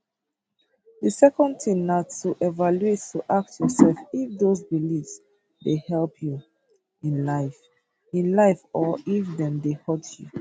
di second tin na to evaluate to ask yourself if those beliefs dey help you in life in life or if dem dey hurt you